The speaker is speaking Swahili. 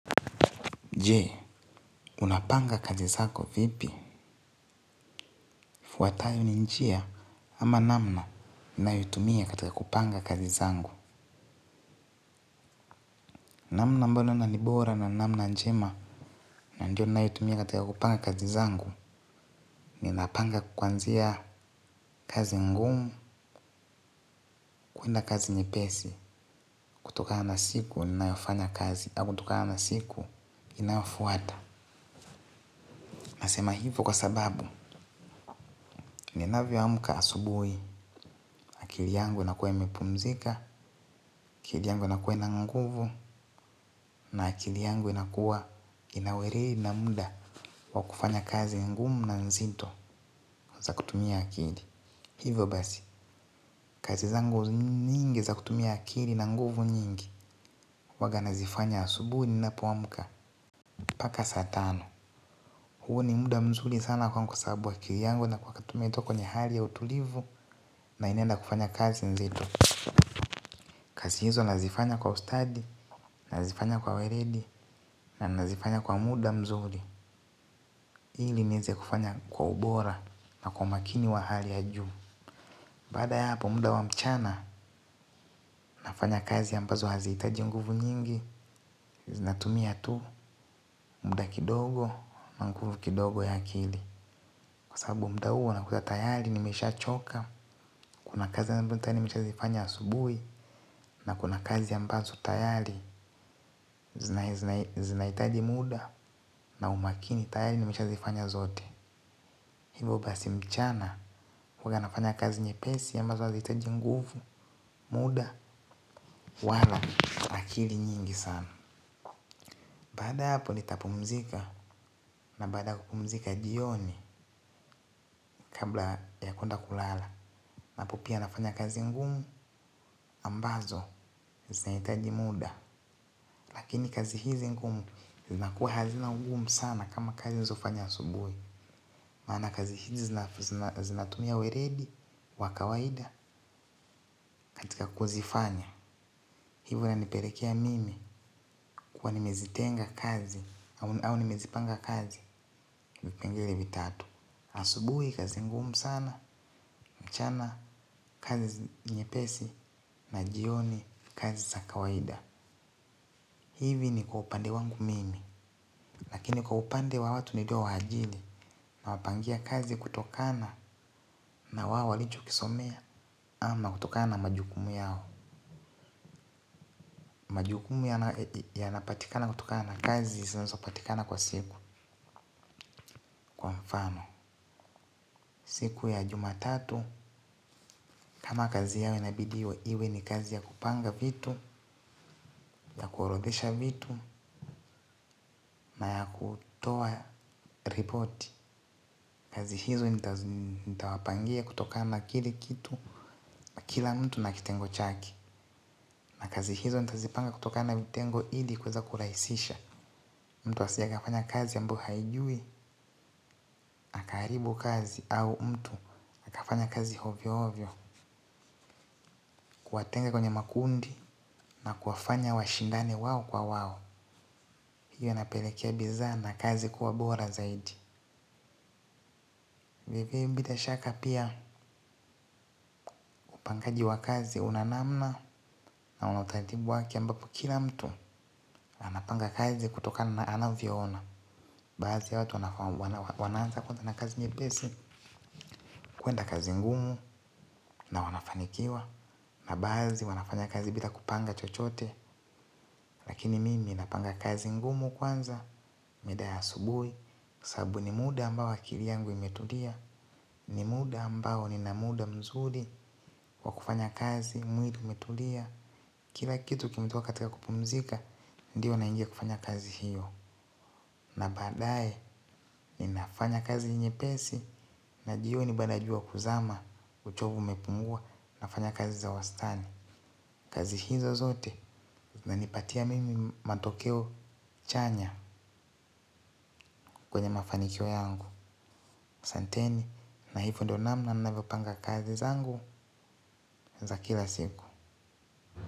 Je, unapanga kazi zako vipi yafuatayo ni njia au namna nayotumia katika kupanga kazi zangu. Namna ambalo na ni bora na namna njema na ndio nayotumia katika kupanga kazi zangu. Ninapanga kuanzia kazi ngumu, kuenda kazi nyepesi, kutoka na siku ninayofanya kazi, au kutokana na siku inayofuata. Nasema hivo kwa sababu, ninavyoamka asubuhi, akili yangu inakuwa imepumzika, akili yangu inakuwa ina nguvu. Na akili yangu inakuwa ina ureri na muda wa kufanya kazi ngumu na nzito za kutumia akili. Hivyo basi kazi zangu nyingi za kutumia akili na nguvu nyingi huanga nazifanya asubuhi ninapoamka mpaka saa tano. Huu ni muda mzuri sana kwangu kwa sababu akili yangu inakuanga tu kwenye hali ya utulivu. Na inaenda kufanya kazi nzito. Kazi hizo nazifanya kwa ustadi. Nazifanya kwa weredi. Na nazifanya kwa muda mzuri ili nieze kufanya kwa ubora na kwa makini wa hali ya juu baada ya hapo muda wa mchana nafanya kazi ambazo hazihitaji nguvu nyingi. Zinatumia tu muda kidogo na nguvu kidogo ya akili. Kwa sababu muda huo nakuwa tayari nimeshachoka. Kuna kazi ambazo tayari zinahitaji muda na umakini tayari nimeshazifanya zote. Hivo basi mchana huwa nafanya kazi nyepesi ambazo hazihitaji nguvu. Muda wala akili nyingi sana. Baada ya hapo nitapumzika. Na baada ya kupumzika jioni kabla ya kuenda kulala. Napupia nafanya kazi ngumu Ambazo Zinahitaji muda. Lakini kazi hizi nguvu zinakuwa hazina ugumu sana kama kazi nizofanya asubuhi. Maana kazi hizi zinatumia weledi wa kawaida nataka kuzifanya. Hivo inanipelekea mimi kuwa nimezitenga kazi au nimezipanga kazi vipengele vitatu. Asubuhi kazi ngumu sana, mchana, kazi nyepesi na jioni kazi za kawaida. Hivi ni kwa upande wangu mimi. Lakini kwa upande wa watu ni doa ajili nawapangia kazi kutokana na wao walichokisomea ama kutokana na majukumu yao. Majukumu yanapatikana kutokana na kazi zinazopatikana kwa siku mfano, siku ya jumatatu, kama kazi yao inabidi iwe ni kazi ya kupanga vitu, ya kuorodhesha vitu na ya kutoa ripoti. Kazi hizo nitawapangia kutokana na kile kitu, kila mtu na kitengo chake na kazi hizo nitazipanga kutokana na vitengo ili kueza kurahisisha. Mtu asije akafanya kazi ambyo haijui, akaharibu kazi au mtu akafanya kazi hovyo hovyo. Kuwatenga kwenye makundi na kuwafanya washindane wao kwa wao. Hiyo inapelekea bizanda kazi kuwa bora zaidi bila shaka piya upangaji wa kazi una namna. Na una utaratibu wake ambapo kila mtu. Anapanga kazi kutokana na anavyoona baadhi ya watu wanaanza kwanza na kazi nyepesi kuenda kazi ngumu na wanafanikiwa na baadhi wanafanya kazi bila kupanga chochote. Lakini mimi napanga kazi ngumu kwanza mida ya asubuhi sababu ni muda ambao akili yangu imetulia ni muda ambao nina muda mzuri wa kufanya kazi mwili umetulia kila kitu kimetiwa katika kupumzika. Ndiyo naingia kufanya kazi hiyo na badaye ninafanya kazi nyepesi na jioni baada ya jua kuzama. Uchovu umepunguwa nafanya kazi za wastani. Kazi hiza zote zinanipatia mimi matokeo chanya. Kwenye mafanikio yangu asanteni na hivyo ndiyo namna ninavyopanga kazi zangu za kila siku.